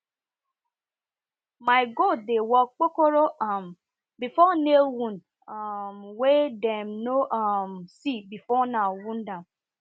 my goat dey walk kpokoro um before nail wound um wey dem no um see before now wound am